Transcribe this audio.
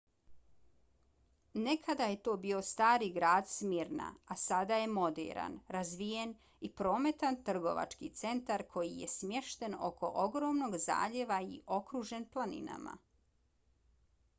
nekada je to bio stari grad smyrna a sada je moderan razvijen i prometan trgovački centar koji je smješten oko ogromnog zaljeva i okružen planinama